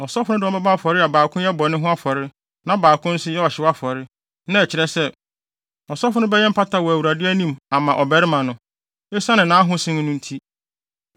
Ɔsɔfo no de wɔn bɛbɔ afɔre a baako yɛ bɔne ho afɔre na baako no nso yɛ ɔhyew afɔre; na ɛkyerɛ sɛ, ɔsɔfo no bɛyɛ mpata wɔ Awurade anim ama ɔbarima no, esiane nʼahosen no nti.